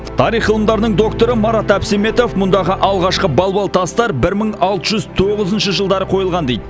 тарих ғылымдарының докторы марат әбсеметов мұндағы алғашқы балбал тастар бір мың алты жүз тоғызыншы жылдары қойылған дейді